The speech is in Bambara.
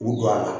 K'u don a la